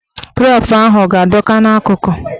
Krep ahụ a ga-adọ ka n'akụkụ?